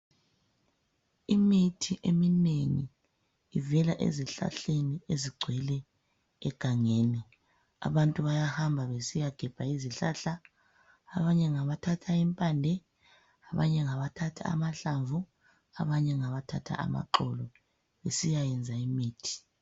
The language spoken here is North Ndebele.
Imithi eminengi ivela ezihlahleni ezigcwele egangeni. Abantu bayahamba besiyagebha izihlahla. Abanye ngabathatha impande, abanye ngabathatha amahlamvu, abanye ngabathatha amaxolo besiyayenza imithi.